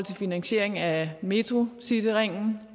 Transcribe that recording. finansieringen af metrocityringen